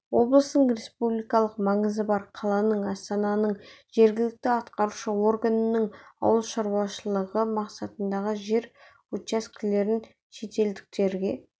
облыстың республикалық маңызы бар қаланың астананың жергілікті атқарушы органының ауыл шаруашылығы мақсатындағы жер учаскелерін шетелдіктерге